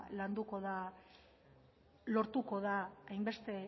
landuko eta lortuko da hainbeste